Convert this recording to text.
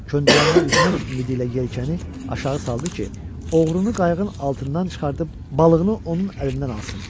Köndələnnə üzmək ümidi ilə yelkəni aşağı saldı ki, oğrunu qayığın altından çıxardıb balığını onun əlindən alsın.